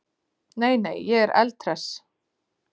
Nei, nei, ég er eldhress.